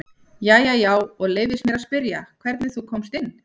Jæja já, og leyfist mér að spyrja hvernig þú komst hingað?